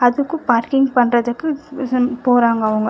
அதுக்கு பார்க்கிங் பண்றதுக்கு போறாங்க அவுங்க